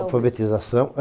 Alfabetização.